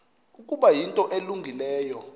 ukuba yinto elungileyo